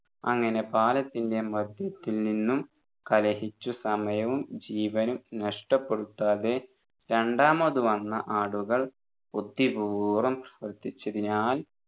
അങ്ങനെ പാലത്തിൻെറ മധ്യത്തിൽ നിന്നും കലഹിച്ച് സമയവും ജീവനും നഷ്ടപ്പെടുത്താതെ രണ്ടാമത് വന്ന ആടുകൾ ബുദ്ധിപൂർവ്വം ശ്രദ്ധിച്ചതിനാൽ